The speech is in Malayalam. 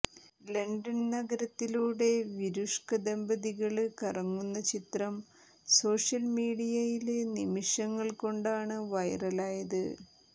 ലണ്ടന് നഗരത്തിലൂടെ വിരുഷ്ക ദമ്പതികള് കറങ്ങുന്ന ചിത്രം സോഷ്യല്മീഡിയയില് നിമിഷങ്ങള് കൊണ്ടാണ് വൈറലായത്